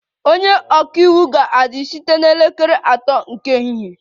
Onye ọka iwu ga-adị site na elekere atọ nke ehihie